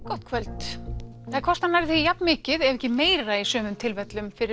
gott kvöld það kostar nærri því jafnmikið ef ekki meira í sumum tilfellum fyrir